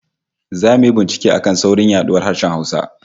Zamu yi bincike a kan saurin yaduwar harshen Hausa